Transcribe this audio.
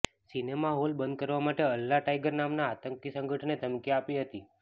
cinema hall બંધ કરવા માટે અલ્લાહ ટાઈગર નામના આતંકી સંગઠને ધમકી આપી હતી